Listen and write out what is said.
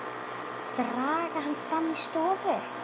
Draga hana fram í stofu.